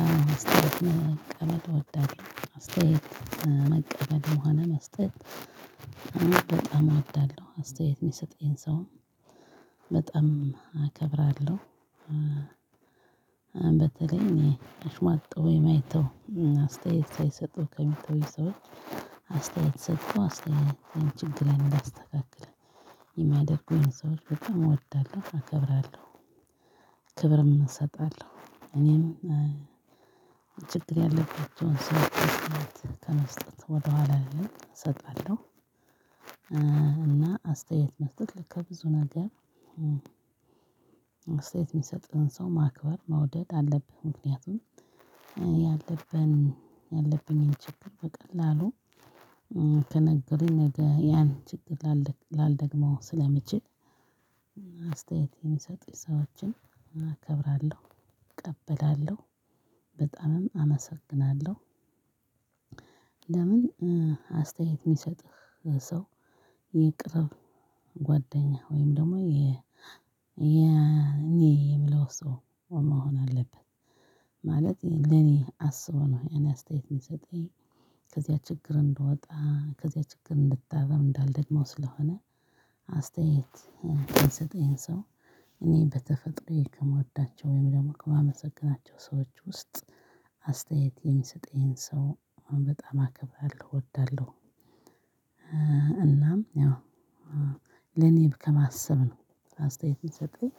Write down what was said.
አሁን መቀመጥ እወዳለሁ አስተያየት መቀበልም ሆን መስጠት በጣም አወዳለሁ አስተያየት ሚሰጠኝ ሰው በጣም አከብራለሁ። በተለይ እኔ እሽሟጠው የማይተው አስተያየት ሳይሰጡ ከሚተው ሰዎች አስተያየት ሰጥተው አስተያየት ችግር እንዳስተካክል የሚያደርጉኝን ሰዎች በጣም እወዳለሁ እከብራለሁ። ክብርም እሰጣለሁ እኔም ችግር ያለባቸውን ሰው አስተያየት ከመስጠት ወደኋላ አልልም እሰጣለሁ። እና አስተያየት መስጠት ልክ ከብዙ ነገር እስተየት የሚሰጥህን ሰው ማክበር መውደድ አለብህ። ምክንያቱም ያለብን ያለብኝን ችግር በቀላሉ ከነገረኝ ነገ ያን ችግር ላልደግመው ስለምችል። አስተያየት የሚሰጡኝ ሰዎችን እከብራለሁ እቀበላለሁ በጣምም አመሰግናለሁ። ለምን? አስተያየት የሚሰጥህ ሰው የቅርብ ጓደኛህ ወይም ደግሞ የ እኔ የምለው ሰው መሆን አለበት። ማለቴ ለኔ አስቦ ነው ይህን አስተያየት የሚሰጠኝ። ከዚያ ችግር እንድወጣ ከዚያ ችግር እንድታረም እንዳልደግመው ስለሆነ። አስተያየት የሚሰጠኝ ሰው እኔ በተፈጥሮ ከምወዳቸው ወይም ደግሞ ከማመሰግናቸው ሰዎች ውስጥ አስተያየት የሚሰጠኝን ሰው በጣም አከብራለሁ እወዳለሁ። እናም ያው ለኔም ከማሰብ ነው አስተያየት የሰጠኝ